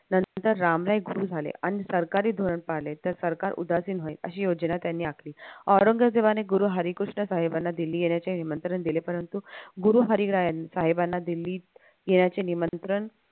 नंतर रामराय गुरु झाले आणि आणि सरकारी धोरण पाळले तर सरकार उदासीन होईल अशी योजना त्यानी आखली औरंगजेबाने गुरु हरिकृष्ण साहेबांना दिल्ली येण्याचे निमंत्रण दिले परंतु गुरु हरीराय यांनी साहेबांना दिल्लीत येण्याचे निमंत्रण